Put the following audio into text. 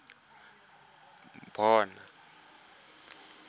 mo set habeng go bona